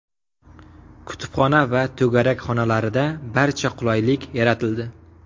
Kutubxona va to‘garak xonalarida barcha qulaylik yaratildi.